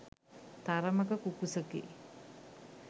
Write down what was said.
තරමක කුකුසකි.